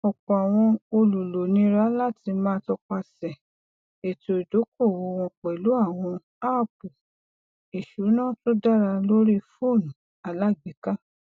ọpọ àwọn olùlò nira láti máa tọpasẹ ètò ìdókòwò wọn pẹlú àwọn aapu ìṣúná tó dá lórí foonu alágbèéká